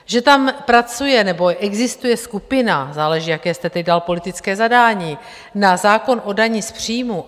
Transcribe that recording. Že tam pracuje nebo existuje skupina - záleží, jaké jste teď dal politické zadání - na zákon o dani z příjmů.